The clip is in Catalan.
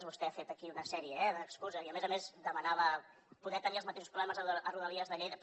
vostè ha fet aquí una sèrie eh d’excuses i a més a més demanava poder tenir els mateixos problemes a rodalies de lleida